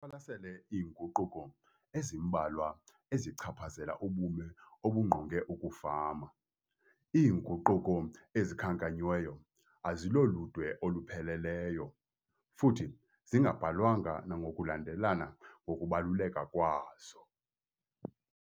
siqwalasele iinguquko ezimbalwa ezichaphazela ubume obungqonge ukufama. Iinguquko ezikhankanyiweyo aziloludwe olupheleleyo futhi zingabhalwanga nangokulanelelana kokubaluleka kwazo.